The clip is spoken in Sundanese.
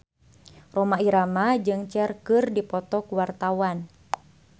Rhoma Irama jeung Cher keur dipoto ku wartawan